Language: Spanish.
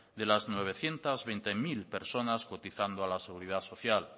de las novecientos veinte mil personas cotizando a la seguridad social